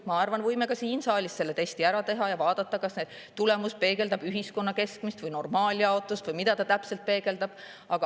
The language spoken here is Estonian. Ma arvan, et me võime ka siin saalis selle testi ära teha ja vaadata, kas tulemus peegeldab ühiskonna keskmist või normaaljaotust või mida ta täpselt peegeldab.